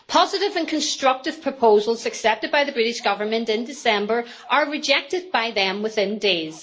Positive and constructive proposals accepted by the British Government in December are rejected by them within days.